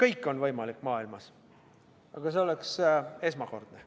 Kõik on maailmas võimalik, aga see oleks esmakordne.